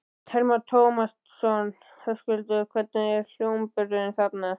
Telma Tómasson: Höskuldur, hvernig er hljómburðurinn þarna?